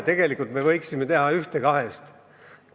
Tegelikult me võiksime teha ühte kahest.